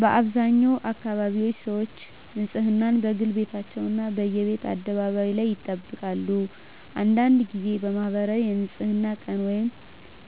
በአብዛኛው አካባቢዎች ሰዎች ንፅህናን፦ በግል ቤታቸው እና በየቤት አደባባይ ላይ ይጠብቃሉ አንዳንድ ጊዜ በማኅበራዊ የንፅህና ቀን